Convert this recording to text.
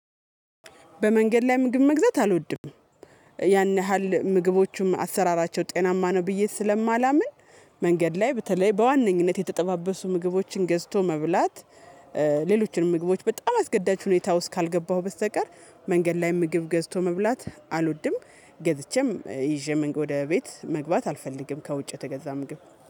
በመንገድ ላይ ምግብ መግዛት አልወድም። ያን ያህል ምግቦቹም አሰራራቸው ጤናማ ነው ብዬ ስለማላምን መንገድ ላይ በተለይ በዋነኝነት የተጠባበሱ ምግቦችን ገዝቶ መብላት ሌሎችንም ምግቦች በጣም አስገዳጅ ሁኔታ ውስጥ ካልገባሁ በስተቀር መንገድ ላይ ምግብ ገዝቶ መብላት አልወድም። ገዝቼም ይዤ ወደ ቤት መግባት አልፈልግም ከውጭ የተገዛ ምግብ